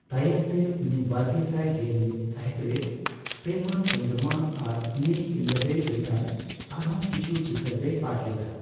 ᱛᱟᱭᱚᱢᱛᱮ ᱩᱱᱤ ᱵᱟᱨᱜᱮᱥᱟᱭ ᱜᱮᱞᱢᱤᱛ ᱥᱟᱦᱤᱛᱨᱮ ᱯᱨᱮᱢᱟ ᱪᱚᱱᱫᱨᱚᱢᱟ ᱟᱨ ᱱᱤ ᱤᱞᱞᱟᱫᱮ ᱞᱮᱠᱟᱱ ᱟᱨᱦᱚᱸ ᱠᱤᱪᱷᱩ ᱪᱤᱛᱟᱹᱨ ᱨᱮᱭ ᱯᱟᱴ ᱞᱮᱫᱼᱟ ᱾